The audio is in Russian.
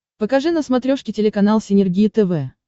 покажи на смотрешке телеканал синергия тв